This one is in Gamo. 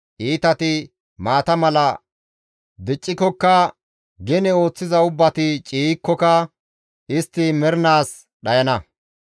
Iitati maata mala diccikokka, gene ooththiza ubbati ciiykkoka istti mernaas dhayana.